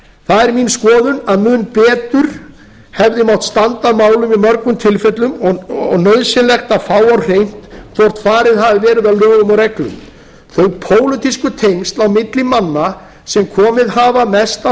það er mín skoðun að mun betur hefði mátt standa að málum í mörgum tilfellum og nauðsynlegt að fá á hreint hvort farið hafi verið að lögum og reglum þau pólitísku tengsl á milli manna sem komið hafa mest að